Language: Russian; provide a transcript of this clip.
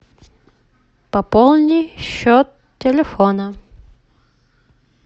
пополни счет телефона